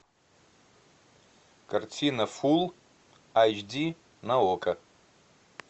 картина фулл айч ди на окко